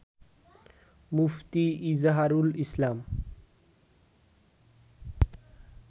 মুফতি Izharul ইসলাম